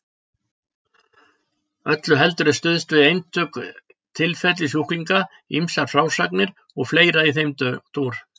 Öllu heldur er stuðst við einstök tilfelli sjúklinga, ýmsar frásagnir og fleira í þeim dúr.